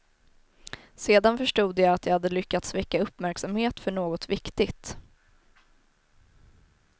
Sedan förstod jag att jag hade lyckats väcka uppmärksamhet för något viktigt.